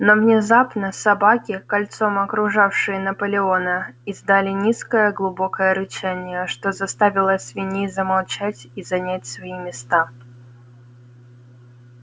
но внезапно собаки кольцом окружавшие наполеона издали низкое глубокое рычание что заставило свиней замолчать и занять свои места